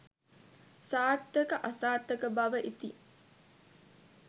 සාර්ථක අසාර්ථක බව ඉතිං